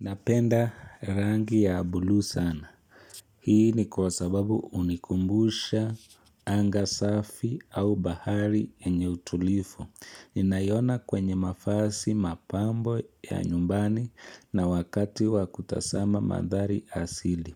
Napenda rangi ya buluu sana. Hii ni kwa sababu hunikumbusha anga safi au bahari enye utulifu. Naiona kwenye mavazi mapambo ya nyumbani na wakati wa kutazama mandhari asili.